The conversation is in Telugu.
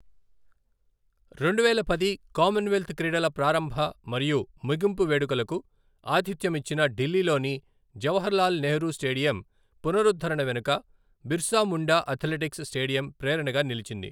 రెండువేల పది కామన్వెల్త్ క్రీడల ప్రారంభ మరియు ముగింపు వేడుకలకు ఆతిథ్యమిచ్చిన ఢిల్లీలోని జవహర్ లాల్ నెహ్రూ స్టేడియం పునరుద్ధరణ వెనుక బిర్సా ముండా అథ్లెటిక్స్ స్టేడియం ప్రేరణగా నిలిచింది.